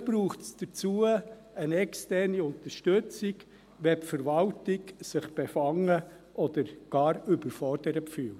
Vielleicht braucht es dazu eine externe Unterstützung, wenn sich die Verwaltung befangen oder gar überfordert fühlt.